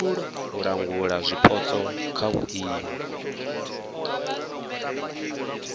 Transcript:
u langula zwipotso kha vhuimo